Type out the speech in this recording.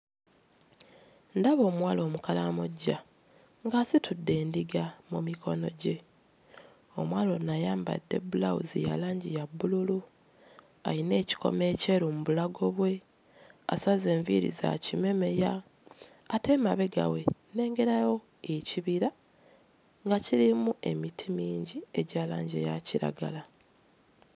Ndaba omuwala Omukalamoja ng'asitudde endiga mu mikono gye. Omuwala ono ayambadde bbulawuzi ya langi ya bbululu, alina ekikomo ekyeru mu bulago bwe, asaze enviiri za kimemeya ate emabega we nnengerayo ekibira nga kirimu emiti mingi egya langi eya kiragala.